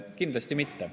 Kindlasti mitte.